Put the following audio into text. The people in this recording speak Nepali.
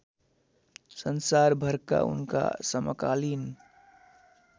संसारभरका उनका समकालिन